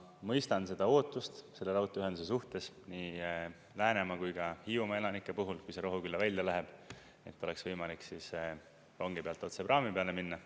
Ma mõistan seda ootust selle raudteeühenduse suhtes nii Läänemaa kui ka Hiiumaa elanike puhul, kui see Rohukülla välja läheb, et oleks võimalik rongi pealt otse praami peale minna.